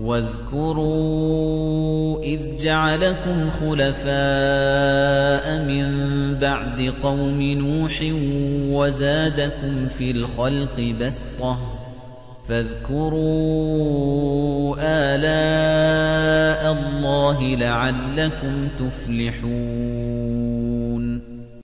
وَاذْكُرُوا إِذْ جَعَلَكُمْ خُلَفَاءَ مِن بَعْدِ قَوْمِ نُوحٍ وَزَادَكُمْ فِي الْخَلْقِ بَسْطَةً ۖ فَاذْكُرُوا آلَاءَ اللَّهِ لَعَلَّكُمْ تُفْلِحُونَ